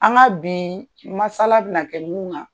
An ka bi masala bƐna kɛ ninnu